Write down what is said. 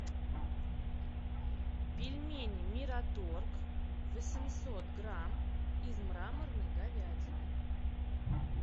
пельмени мираторг восемьсот грамм из мраморной говядины